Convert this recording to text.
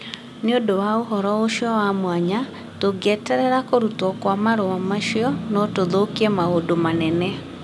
Nĩ ũndũ wa ũhoro ũcio wa mwanya, tũngĩeterera kũrutwo kwa marũa macio, no tũthũkie maũndũ manene